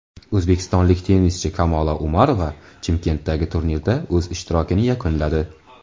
O‘zbekistonlik tennischi Kamola Umarova Chimkentdagi turnirda o‘z ishtirokini yakunladi.